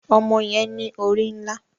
Ọmọ yẹn ní orí nlá